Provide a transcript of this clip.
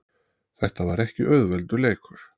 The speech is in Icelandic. Þetta var ekki auðveldur leikur